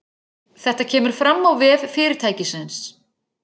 Þetta kemur fram á vef fyrirtækisins